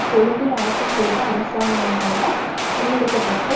கொழும்பில் ஆட்சிசெய்த அரசாங்கங்களால் முன்னெடுக்க பட்ட